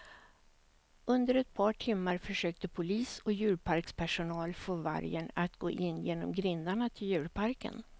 Under ett par timmar försökte polis och djurparkspersonal få vargen att gå in genom grindarna till djurparken.